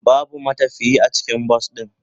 Babu matafiye a cikin bas din.